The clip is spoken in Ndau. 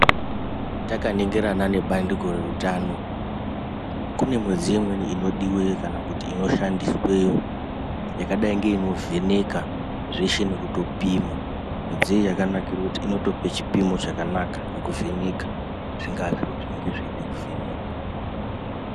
Taka ningirana ne bandiko re utano kune mudziyo imweni ino diwe kana kuti ino shandiswe yakadai ino vheneka zveshe nekuto pima mudziyo iyo yakato nakira kuti inotope chipimo chakanaka ne kuvheneka zvingava zviro zvingadai zveida ku vhenekwa.